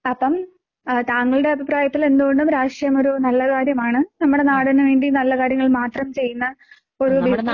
അപ്പം ഏഹ് താങ്കളുടെ അഭിപ്രായത്തില് എന്തുകൊണ്ടും രാഷ്ട്രീയം ഒരു നല്ല കാര്യമാണ് നമ്മയുടെ നാടിന് വേണ്ടി നല്ല കാര്യങ്ങൾ മാത്രം ചെയ്യുന്ന ഒരു